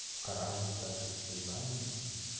в коране и так есть все знания